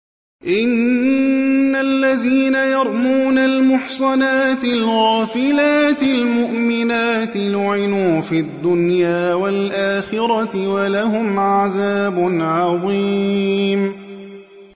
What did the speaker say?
إِنَّ الَّذِينَ يَرْمُونَ الْمُحْصَنَاتِ الْغَافِلَاتِ الْمُؤْمِنَاتِ لُعِنُوا فِي الدُّنْيَا وَالْآخِرَةِ وَلَهُمْ عَذَابٌ عَظِيمٌ